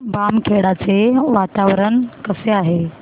बामखेडा चे वातावरण कसे आहे